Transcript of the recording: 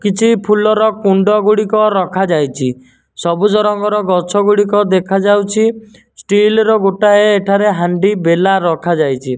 କିଛି ଫୁଲର କୁଣ୍ଡ ଗୁଡ଼ିକ ରଖାଯାଇଚି ସବୁଜ ରଙ୍ଗର ଗଛଗୁଡ଼ିକ ଦେଖାଯାଉଛି ଷ୍ଟିଲ ର ଗୋଟାଏ ଏଠାରେ ହାଣ୍ଡି ବେଲା ରଖାଯାଇଚି।